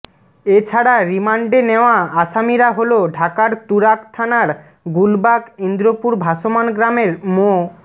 এ ছাড়া রিমান্ডে নেওয়া আসামিরা হলো ঢাকার তুরাগ থানার গুলবাগ ইন্দ্রপুর ভাসমান গ্রামের মো